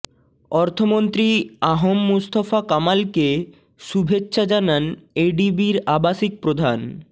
অর্থমন্ত্রী আ হ ম মুস্তফা কামালকে শুভেচ্ছা জানান এডিবির আবাসিক প্রধান